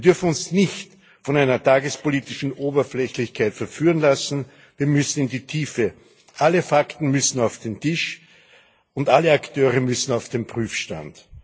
Wir dürfen uns nicht von einer tagespolitischen Oberflächlichkeit verführen lassen Wir müssen in die Tiefe. Alle Fakten müssen auf den Tisch, und alle Akteure müssen auf den Prüfstand.